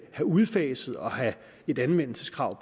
have udfaset og have et anvendelseskrav